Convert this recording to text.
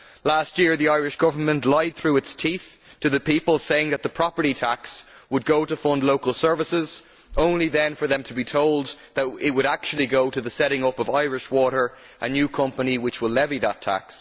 Last year the Irish Government lied through its teeth to the people, saying that the property tax would go to fund local services, only then for them to be told that it would actually go to the setting up of Irish Water, a new company which will levy that tax.